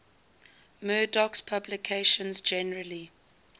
murdoch's publications generally